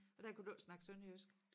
Og der kunne du ikke snakke sønderjysk?